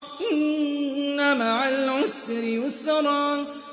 إِنَّ مَعَ الْعُسْرِ يُسْرًا